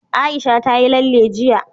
Aisha ta yi lalle jiya.